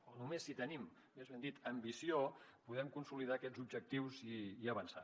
o només si tenim més ben dit ambició podem consolidar aquests objectius i avançar